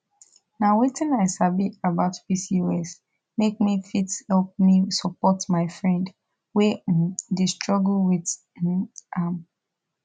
nh wetin i sabi about pcos make me fit help me support my friend wey um dey struggle with um am